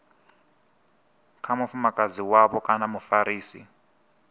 kha mufumakadzi wavho kana mufarisi